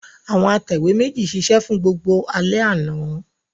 Àwọn atẹ̀wé méjì ṣiṣẹ́ fún gbogbo alẹ́ àná.